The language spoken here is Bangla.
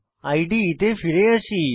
ইদে তে ফিরে যাই